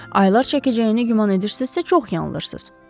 Aylar çəkəcəyinə güman edirsinizsə, çox yanılırsınız.